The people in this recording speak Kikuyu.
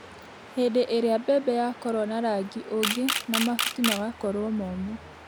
Hĩndĩ ĩrĩa mbembe yakorwo na rangi ũngĩ na mahuti magakorwo momũ